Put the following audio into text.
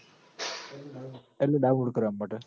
એટલ download કરવા માટ